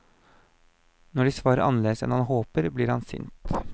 Når de svarer annerledes enn han håper, blir han sint.